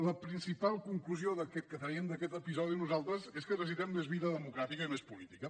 la principal conclusió que traiem d’aquest episodi nosaltres és que necessitem més vida democràtica i més política